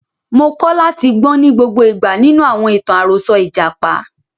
Mo kọ́ láti gbọ́n ní gbogbo ìgbà nínú àwọn ìtàn àròsọ ìjàpá.